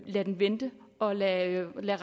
lade den vente og lade den